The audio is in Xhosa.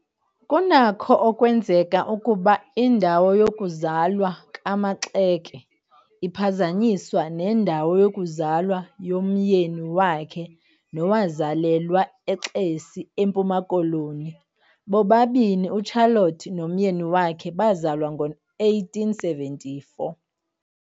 Kunakho ukwenzeka ukuba indawo yokuzalwa kaMaxake iphazanyiswa nendawo yokuzalwa yomyeni wakhe nowazalelwa eXesi eMpuma Koloni, bobani uCharlotte nomyeni wakhe bazalwa ngowe-1874.